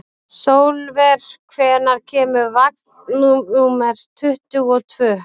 Sólver, hvenær kemur vagn númer tuttugu og tvö?